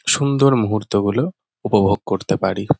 সুন্দর মুহূর্তগুলো উপভোগ করতে পারি।